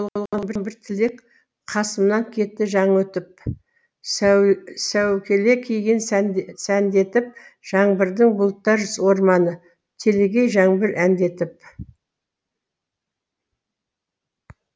басында болған бір тілек қасымнан кетті жаңа өтіп сәукеле киген сәндетіп жаңбырдың бұлттар орманы телегей жаңбыр әндетіп